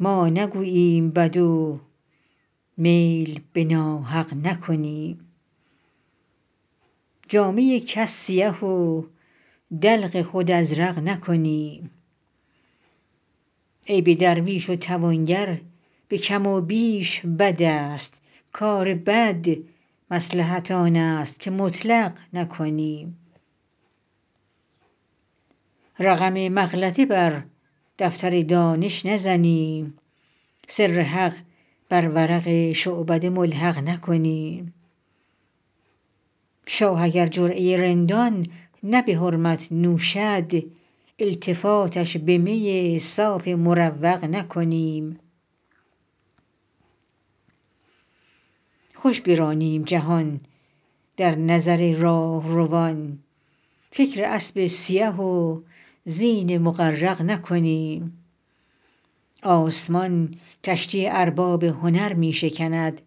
ما نگوییم بد و میل به ناحق نکنیم جامه کس سیه و دلق خود ازرق نکنیم عیب درویش و توانگر به کم و بیش بد است کار بد مصلحت آن است که مطلق نکنیم رقم مغلطه بر دفتر دانش نزنیم سر حق بر ورق شعبده ملحق نکنیم شاه اگر جرعه رندان نه به حرمت نوشد التفاتش به می صاف مروق نکنیم خوش برانیم جهان در نظر راهروان فکر اسب سیه و زین مغرق نکنیم آسمان کشتی ارباب هنر می شکند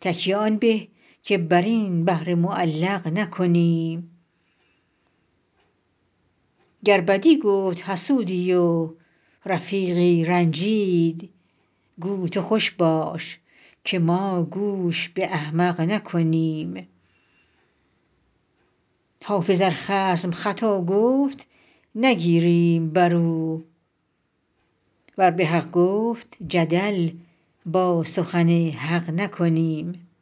تکیه آن به که بر این بحر معلق نکنیم گر بدی گفت حسودی و رفیقی رنجید گو تو خوش باش که ما گوش به احمق نکنیم حافظ ار خصم خطا گفت نگیریم بر او ور به حق گفت جدل با سخن حق نکنیم